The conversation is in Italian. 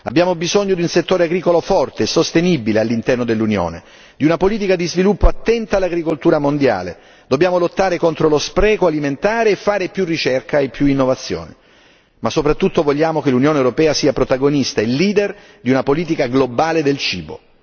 Abbiamo bisogno di un settore agricolo forte e sostenibile all'interno dell'Unione, di una politica di sviluppo attenta all'agricoltura mondiale, dobbiamo lottare contro lo spreco alimentare e fare più ricerca e innovazione, ma soprattutto, vogliamo che l'Unione europea sia protagonista e leader di una politica globale del cibo.